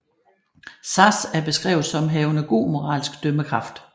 Sazh er beskrevet som havende god moralsk dømmekraft